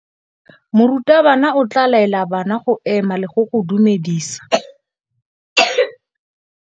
Morutabana o tla laela bana go ema le go go dumedisa.